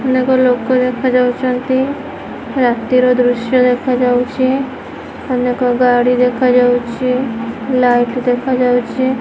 ଅନେକ ଲୋକ ଦେଖା ଯାଉଛନ୍ତି ରାତିର ଦୃଶ୍ୟ ଦେଖା ଯାଉଛି ଅନେକ ଗାଡି ଦେଖା ଯାଉଛି ଲାଇଟ୍ ଦେଖା ଯାଉଛି।